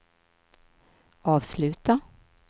avsluta